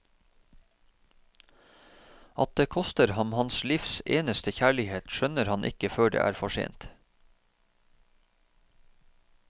At det koster ham hans livs eneste kjærlighet, skjønner han ikke før det er for sent.